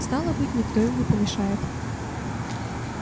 стало быть никто им не помешает